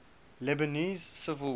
lebanese civil war